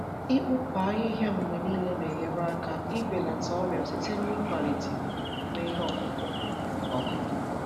Ịkpụpụ ahịhịa mgbe niile na-enyere aka ibelata ọrịa site n’ịkwalite ikuku n’ime ihe ọkụkụ. ọkụkụ.